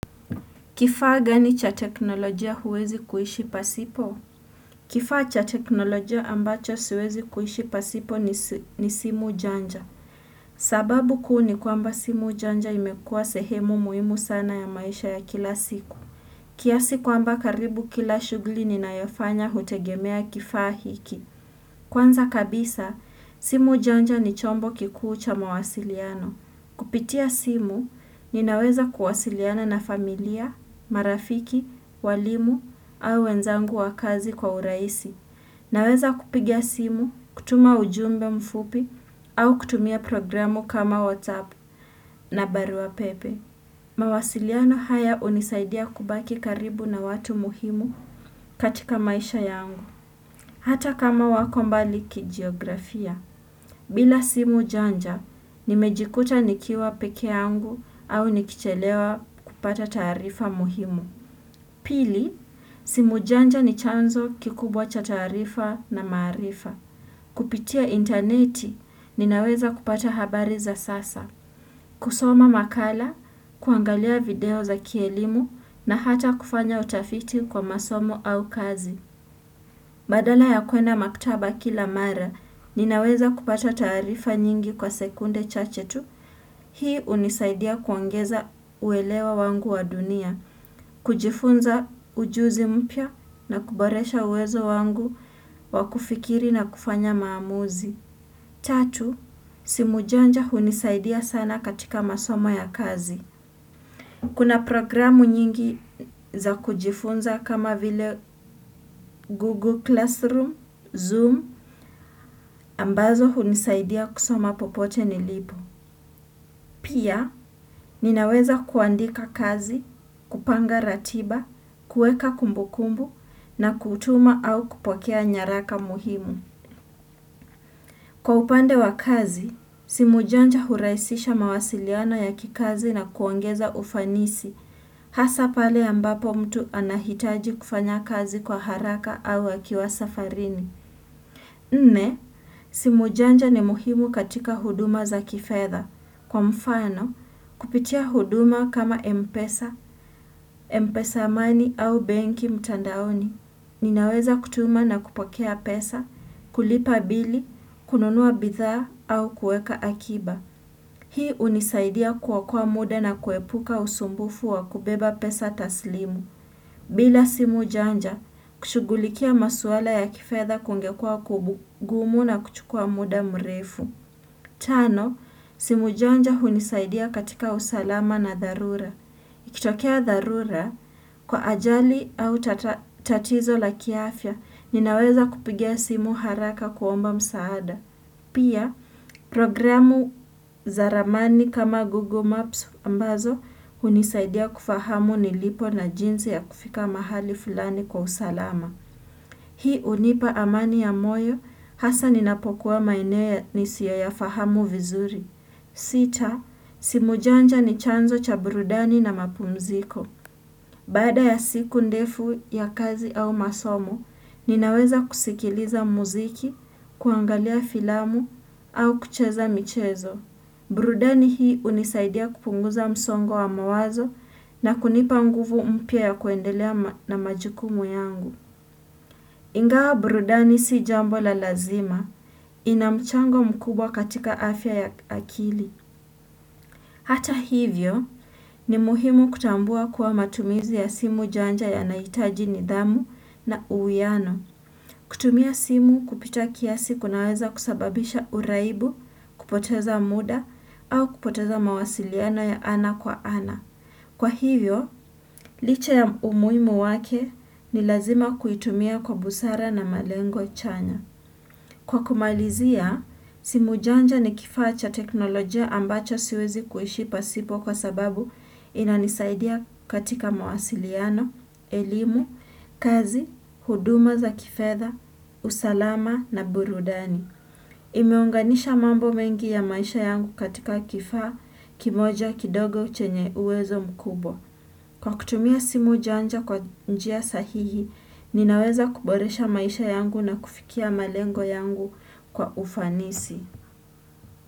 Kifaa gani cha teknolojia huwezi kuishi pasipo? Kifaa cha teknolojia ambacho siwezi kuishi pasipo ni ni simu janja. Sababu kuu ni kwamba simu janja imekua sehemu muhimu sana ya maisha ya kila siku. Kiasi kwamba karibu kila shugli ninayofanya hutegemea kifaa hiki. Kwanza kabisa, simu janja ni chombo kikuu cha mawasiliano. Kupitia simu, ninaweza kuwasiliana na familia, marafiki, walimu, au wenzangu wa kazi kwa uraisi. Naweza kupiga simu, kutuma ujumbe mfupi, au kutumia programu kama WhatsApp na barua pepe. Mawasiliano haya unisaidia kubaki karibu na watu muhimu katika maisha yangu, hata kama wako mbali kijiografia. Bila simu janja, nimejikuta nikiwa peke yangu au nikichelewa kupata taarifa muhimu. Pili, simu janja ni chanzo kikubwa cha taarifa na maarifa. Kupitia interneti, ninaweza kupata habari za sasa. Kusoma makala, kuangalia video za kielimu na hata kufanya utafiti kwa masomo au kazi. Badala ya kuenda maktaba kila mara, ninaweza kupata taarifa nyingi kwa sekunde chache tu. Hii unisaidia kuongeza uelewa wangu wa dunia, kujifunza ujuzi mpya na kuboresha uwezo wangu wa kufikiri na kufanya maamuzi. Tatu, simu janja hunisaidia sana katika masomo ya kazi. Kuna programu nyingi za kujifunza kama vile Google Classroom, Zoom, ambazo hunisaidia kusoma popote nilipo. Pia, ninaweza kuandika kazi, kupanga ratiba, kueka kumbukumbu na kutuma au kupokea nyaraka muhimu. Kwa upande wa kazi, simu janja huraisisha mawasiliano ya kikazi na kuongeza ufanisi. Hasa pale ambapo mtu anahitaji kufanya kazi kwa haraka au akiwa safarini. Nne, simu janja ni muhimu katika huduma za kifedha. Kwa mfano, kupitia huduma kama Mpesa, Mpesa money au benki mtandaoni. Ninaweza kutuma na kupokea pesa, kulipa bili, kununua bidhaa au kueka akiba. Hii unisaidia kuokoa muda na kuepuka usumbufu wa kubeba pesa taslimu. Bila simu janja, kushugulikia maswala ya kifedha kungekua kubugumu na kuchukua muda mrefu. Tano, simu janja hunisaidia katika usalama na dharura. Ikitokea dharura, kwa ajali au tatizo la kiafya, ninaweza kupiga simu haraka kuomba msaada. Pia, programu za ramani kama Google Maps ambazo unisaidia kufahamu nilipo na jinsi ya kufika mahali fulani kwa usalama. Hii unipa amani ya moyo, hasa ninapokuwa maeneo nisiyo ya fahamu vizuri. Sita, simu janja ni chanzo cha burudani na mapumziko. Baada ya siku ndefu ya kazi au masomo, ninaweza kusikiliza muziki, kuangalia filamu au kucheza michezo. Burudani hii unisaidia kupunguza msongo wa mawazo na kunipa nguvu mpya ya kuendelea na majukumu yangu. Ingawa burudani si jambo la lazima, inamchango mkubwa katika afya ya akili. Hata hivyo ni muhimu kutambua kuwa matumizi ya simu janja yanaitaji nidhamu na uwiano. Kutumia simu kupita kiasi kunaweza kusababisha uraibu kupoteza muda au kupoteza mawasiliano ya ana kwa ana. Kwa hivyo, licha ya umuhimu wake ni lazima kuitumia kwa busara na malengo chanya. Kwa kumalizia, simu janja ni kifaa cha teknolojia ambacho siwezi kuhishi pasipo kwa sababu inanisaidia katika mawasiliano, elimu, kazi, huduma za kifedha, usalama na burudani. Imeunganisha mambo mengi ya maisha yangu katika kifaa kimoja kidogo chenye uwezo mkubwa. Kwa kutumia simu janja kwa njia sahihi, ninaweza kuboresha maisha yangu na kufikia malengo yangu kwa ufanisi.